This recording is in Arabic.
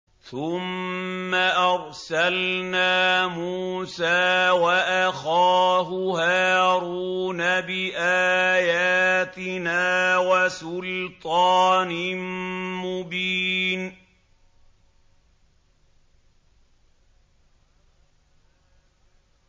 ثُمَّ أَرْسَلْنَا مُوسَىٰ وَأَخَاهُ هَارُونَ بِآيَاتِنَا وَسُلْطَانٍ مُّبِينٍ